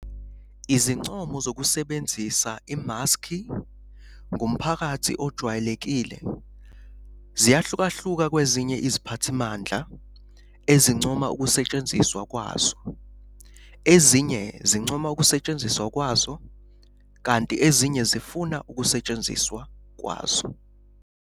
Izincomo zokusebenzisa imaski ngumphakathi ojwayelekile ziyahlukahluka kwezinye iziphathimandla ezincoma ukusetshenziswa kwazo, ezinye zincoma ukusetshenziswa kwazo, kanti ezinye zifuna ukusetshenziswa kwazo.